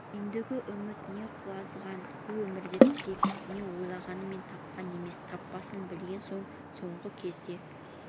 ендігі үміт не құлазыған қу өмірде тірек не ойланғанмен тапқан емес таппасын білген соң соңғы кезде